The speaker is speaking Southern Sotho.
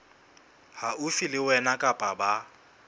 haufi le wena kapa ba